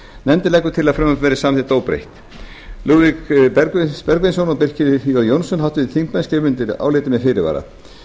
nefndin leggur til að frumvarpið verði samþykkt óbreytt lúðvík bergvinsson og birkir j jónsson háttvirtir þingmenn skrifa undir álitið með fyrirvara